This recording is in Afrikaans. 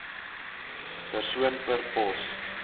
persoon per pos